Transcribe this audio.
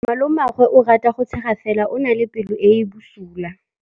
Malomagwe o rata go tshega fela o na le pelo e e bosula.